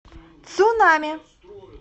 цунами